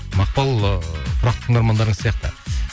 мақпал ыыы тұрақты тыңдармандарыңыз сияқты